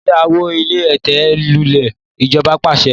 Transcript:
Kí a wó ilé ẹ̀tẹ̀ lulè! ijoba paṣẹ